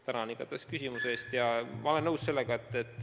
Tänan siiski küsimuse eest!